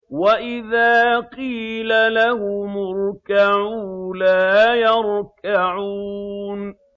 وَإِذَا قِيلَ لَهُمُ ارْكَعُوا لَا يَرْكَعُونَ